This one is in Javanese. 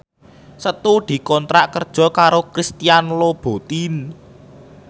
Setu dikontrak kerja karo Christian Louboutin